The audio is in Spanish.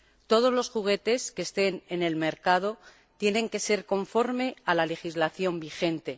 Todos los juguetes que estén en el mercado tienen que ser conformes a la legislación vigente.